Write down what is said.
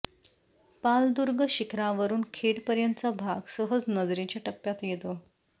पालदुर्ग शिखरावरून खेड पर्यंतचा भाग सहज नजरेच्या टप्प्यात येतो